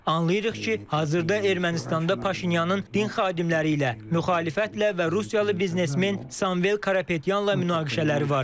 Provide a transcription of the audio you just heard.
Anlayırıq ki, hazırda Ermənistanda Paşinyanın din xadimləri ilə, müxalifətlə və Rusiyalı biznesmen Samvel Karapetyanla münaqişələri var.